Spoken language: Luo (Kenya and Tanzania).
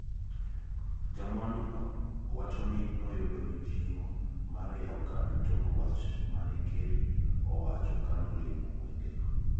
jamwanduno wachoni noyudo mijing`o mar yawo kambi tok wach mane ker owacho kanolimo gwengego.